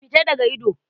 Fita daga ido!